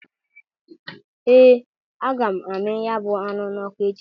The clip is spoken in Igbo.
Ee! Aga m amị ya bụ anụ n'ọkụ echi.